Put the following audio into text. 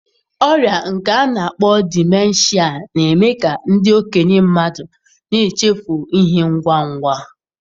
Ọrịa nke a na akpọ Dimenshịa na-eme ka ndị okenye mmadụ na-echefu ihe ngwa ngwa.